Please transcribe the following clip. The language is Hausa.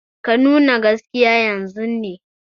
Ka nuna gaskiya yanzun ne!